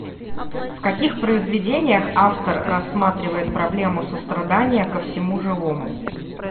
в каких произведениях автор рассматривает проблему сострадания ко всему живому